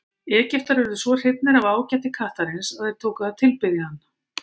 Egyptar urðu svo hrifnir af ágæti kattarins að þeir tóku að tilbiðja hann.